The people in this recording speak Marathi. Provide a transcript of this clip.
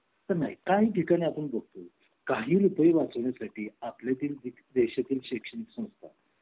नाही काही ठिकाणी आपण बघतो काही रुपये वाचविण्या साठी आपल्या तील देशातील शैक्षणिक संस्था